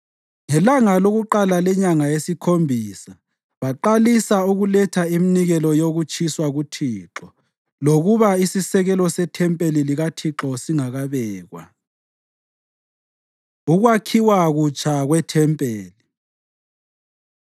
Ngelanga lokuqala lenyanga yesikhombisa baqalisa ukuletha iminikelo yokutshiswa kuThixo, lokuba isisekelo sethempeli likaThixo sasingakabekwa. Ukwakhiwa Kutsha KweThempeli